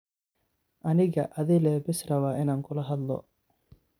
Aniga adhile bes rawa inan kulahadhlo.